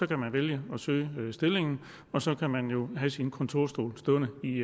kan man vælge at søge stillingen og så kan man jo have sin kontorstol stående i